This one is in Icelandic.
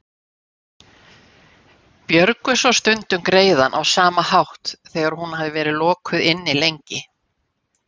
Björgu svo stundum greiðann á sama hátt þegar hún hafði verið lokuð inni lengi.